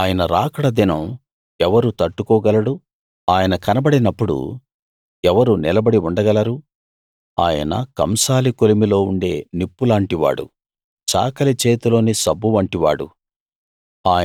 ఆయన రాకడ దినం ఎవరు తట్టుకోగలడు ఆయన కనబడినప్పుడు ఎవరు నిలబడి ఉండగలరు ఆయన కంసాలి కొలిమిలో ఉండే నిప్పులాంటివాడు చాకలి చేతిలోని సబ్బు వంటివాడు